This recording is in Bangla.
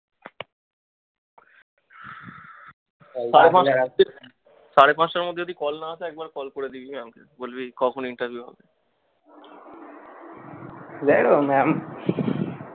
সাড়ে পাচটার মধ্যে যদি call না আসে একবার call করে দেখবি না বলবি কখন interview হবে